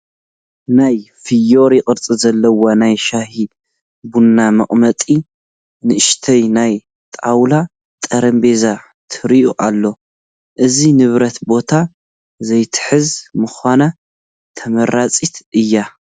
ናይ ፍዮሪ ቅርፂ ዘለዎ ናይ ሻሂ ቡን መቐመጢ ንኡሽተይ ናይ ጣውላ ጠረጴዛ ትርአ ኣላ፡፡ እዛ ንብረት ቦታ ዘይትሕዝ ብምዃና ተመራፂት እያ፡፡